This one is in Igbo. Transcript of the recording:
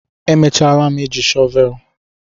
emechalam eji shọvel